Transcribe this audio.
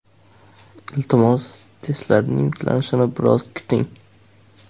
Iltimos, testlarning yuklanishini biroz kuting.